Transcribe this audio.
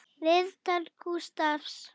Viðtal Gústafs